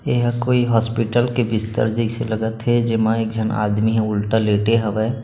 ए ह कोई हॉस्पिटल के बिस्तर जैसे लगथ हे जेमा एक झन आदमी ह उलटा लेटे हवय।